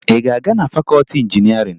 Ị ga-aga na fakọọti injinịarịn?